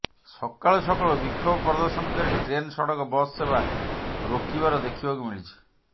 ସକାଳୁ ସକାଳୁ ବିକ୍ଷୋଭ ପ୍ରଦର୍ଶନକାରୀ ଟ୍ରେନ ସଡ଼କ ବସ ସେବା ରୋକିବାର ଦେଖିବାକୁ ମିଳିଛି